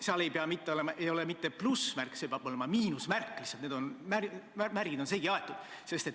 Nende ees ei pea olema mitte plussmärk, vaid miinusmärk – lihtsalt need märgid on segi aetud.